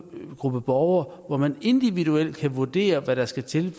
en gruppe borgere hvor man individuelt kan vurdere hvad der skal til